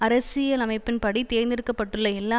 அரசியலமைப்பின்படி தேர்ந்தெடுக்க பட்டுள்ள எல்லா